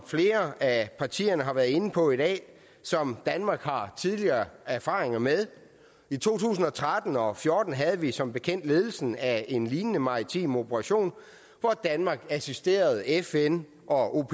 flere af partierne har været inde på i dag som danmark har tidligere erfaringer med i to tusind og tretten og og fjorten havde vi som bekendt ledelsen af en lignende maritim operation hvor danmark assisterede fn og